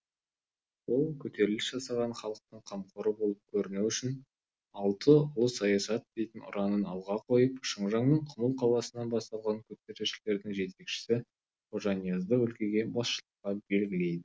ол көтеріліс жасаған халықтың қамқоры болып көріну үшін алты ұлы саясат дейтін ұранын алға қойып шыңжаңның құмыл қаласынан басталған көтерілісшілердің жетекшісі қожаниязды өлкеге басшылыққа белгілейді